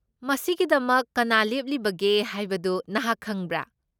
ꯃꯁꯤꯒꯤꯗꯃꯛ ꯀꯅꯥ ꯂꯦꯞꯂꯤꯕꯒꯦ ꯍꯥꯏꯕꯗꯨ ꯅꯍꯥꯛ ꯈꯪꯕ꯭ꯔꯥ?